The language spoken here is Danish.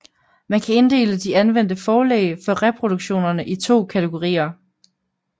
Man kan inddele de anvendte forlæg for reproduktionerne i to kategorier